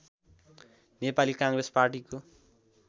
नेपाली काङ्ग्रेस पार्टीको